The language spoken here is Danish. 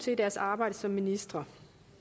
til i deres arbejde som ministre